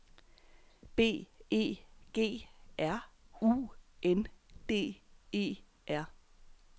B E G R U N D E R